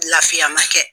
Lafiya ma kɛ